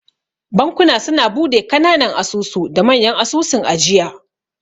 Bankuna suna bude kananan asusu da manya asusun ajiya.